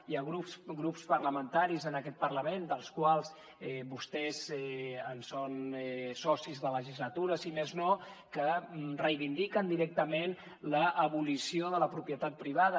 hi ha grups parlamentaris en aquest parlament dels quals vostès són socis de legislatura si més no que reivindiquen directament l’abolició de la propietat privada